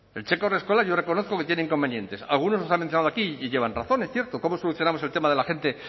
el cheque haurreskolak yo reconozco que tiene inconvenientes algunos los han mencionado aquí y llevan razón es cierto cómo solucionamos el tema de la gente